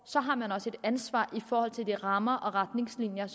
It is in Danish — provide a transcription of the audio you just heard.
har man også et ansvar i forhold til de rammer og retningslinjer